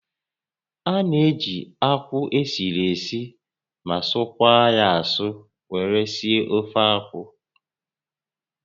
A na-eji akwụ esiri esi ma sụkwaa asụ were esi ofeakwụ